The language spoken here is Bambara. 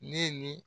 Ne ni